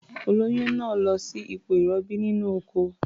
Olóyún náà lọ sí ipò ìrọbí nínú ọkọ̀.